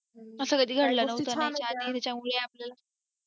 असा कधी घडलं नव्हतं ना आणि त्याच्यामुळे आपल्याला